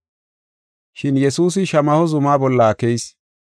Shin Yesuusi Shamaho zuma bolla keyis.